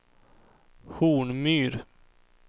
Hornmyr